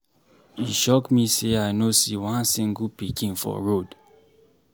E shock me say I no see one single pikin for road.